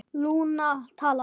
Lúna talaði